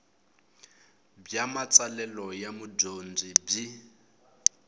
bya matsalelo ya mudyondzi byi